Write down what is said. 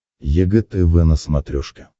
егэ тв на смотрешке